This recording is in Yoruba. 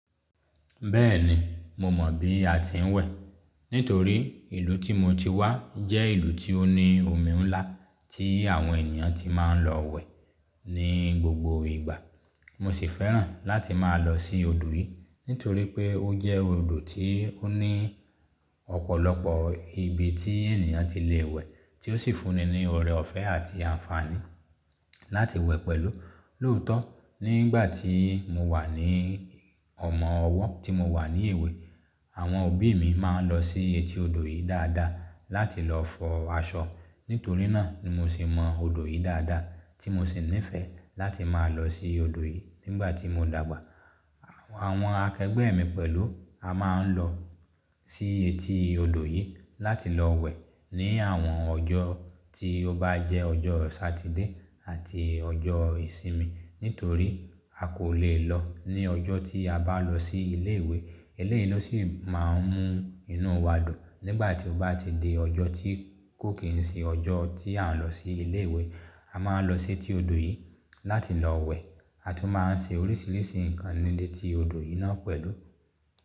Bẹ́ẹ̀ni, mo mọ̀ bí a ti ń wẹ̀. Nítorí ìlú tí mo ti wá jẹ́ ìlú tí ó ní omi ńlá tí àwọn ènìyàn ti máa ń lọ wẹ̀ ní gbogbo ìgbà. Mo sì fẹ́ràn láti máa lọ sí odò yìí, nítorí pé ó jẹ́ odò tí ó ní ọ̀pọ̀lọpọ̀ ibi tí ènìyàn ti lè wẹ̀, tí ó sì fúnni ní ọ̀rẹ́ ọ̀fẹ́ àti àǹfààní láti wẹ̀ pẹ̀lú. Lóòótọ́, nígbà tí mo wà ní ọ̀mọ̀wọ́ tí mo wà ní èwe, àwọn òbí mi máa ń lọ sí etí odò yìí dáadáa láti lọ fọ aṣọ. Nítorí náà ni mo sì mọ odò yìí dáadáa, tí mo sì nífẹ̀ẹ́ láti máa lọ sí odò yìí. Nígbà tí mo dàgbà, àwọn akẹgbẹ́ mi pẹ̀lú, a máa ń lọ sí etí odò yìí láti lọ wẹ̀ ní àwọn ọjọ́ tí ó bá jẹ́ ọjọ́ Satide àti ọjọ́ ìsinmi. Nítorí a kò lè lọ ní ọjọ́ tí a bá lọ sí ilé ìwé, eléyìí ló sì máa ń mú inú wa dùn. Nígbà tí ó bá ti di ọjọ́ tí kò kíń ṣe ọjọ́ tí à ń lọ sí ilé ìwé, a máa ń lọ sí etí odò yìí láti lọ wẹ̀, a tún máa ń ṣe oríṣiríṣi ìkànnì léti odò yìí náà pẹ̀lú.